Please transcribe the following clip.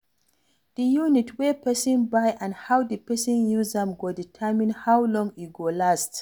Di unit wey person buy and how di person use am go determine how long e go last